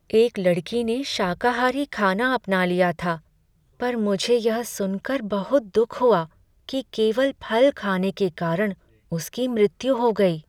एक लड़की ने शाकाहारी खाना अपना लिया था पर मुझे यह सुनकर बहुत दुख हुआ कि केवल फल खाने के कारण उसकी मृत्यु हो गई।